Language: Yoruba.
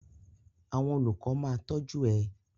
Àwọn olùkọ ma tọju ẹ.